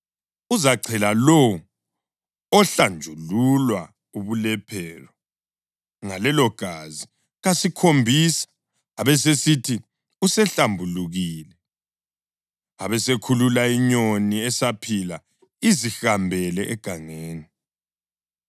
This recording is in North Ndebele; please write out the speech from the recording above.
Uzachela lowo ohlanjululwa ubulephero ngalelogazi kasikhombisa, abesesithi usehlambulukile. Abesekhulula inyoni esaphila izihambele egangeni.